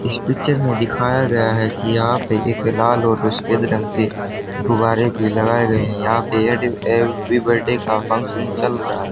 इस पिक्चर में दिखाया गया है कि यहां पे एक लाल और सफेद रंग के गुब्बारे की लगाए गए हैं यहां पे हैप्पी बर्थडे का फंक्शन चल रहा है।